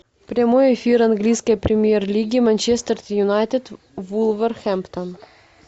прямой эфир английской премьер лиги манчестер юнайтед вулверхэмптон